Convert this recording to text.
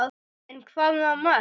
En hvaða mörk?